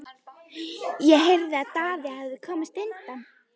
Ég heyrði að Daði hefði komist undan.